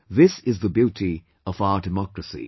This is the beauty of our democracy